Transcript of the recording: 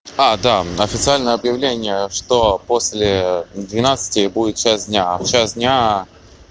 а да официальное объявление что после двенадцати будет час дня а в час дня